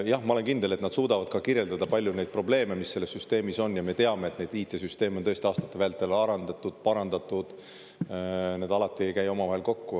Jah, ma olen kindel, et nad suudavad ka kirjeldada palju neid probleeme, mis selles süsteemis on, ja me teame, et neid IT-süsteem on tõesti aastate vältel arendatud, parandatud, need alati ei käi omavahel kokku.